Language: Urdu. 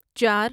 چار